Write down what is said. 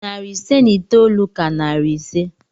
Narị ise na itoolu ka narị ise.